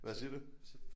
Hvad siger du